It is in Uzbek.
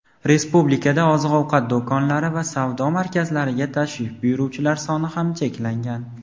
Respublikada oziq-ovqat do‘konlari va savdo markazlariga tashrif buyuruvchilar soni ham cheklangan.